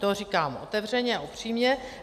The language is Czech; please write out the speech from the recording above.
To říkám otevřeně a upřímně.